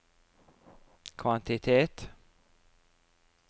kvantitet